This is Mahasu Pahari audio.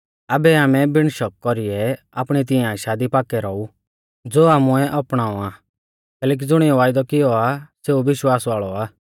आबै आमै बिण शका कौरीयौ आपणी तिऐं आशा दी पाक्कै रौऊ ज़ो आमुऐ अपणाऔ आ कैलैकि ज़ुणिऐ वायदौ कियौ आ सेऊ विश्वास वाल़ौ आ